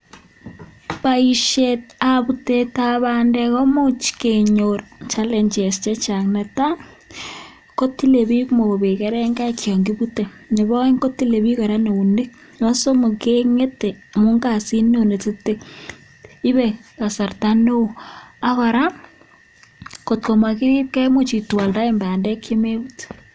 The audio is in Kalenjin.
Boishetab butetab bandek koimuch kenyor challenges che chang ne tai: ko tile biik mobek kerengaik yon kibute, nebo oeng ko tile biik kora eunek, nebo somok ke ng'ete amun kasit neo nekingete, ibe kasarta neo, ak koraa kot ko mogirib kee koimuch itwalldaen bandek che mebut.